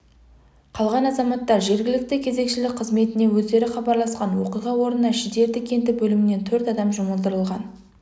қалған азаматтар жергілікті кезекшілік қызметіне өздері хабарласқан оқиға орнына шідерті кенті бөлімінен төрт адам жұмылдырылған